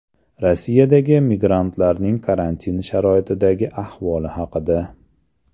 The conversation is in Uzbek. Rossiyadagi migrantlarning karantin sharoitidagi ahvoli haqida.